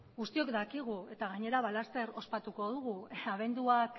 guztiok dakigu eta gainera laster ospatuko dugu